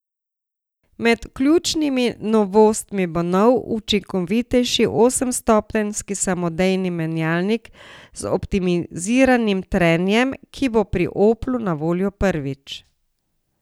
Med ključnimi novostmi bo nov, učinkovitejši osemstopenjski samodejni menjalnik z optimiziranim trenjem, ki bo pri Oplu na voljo prvič.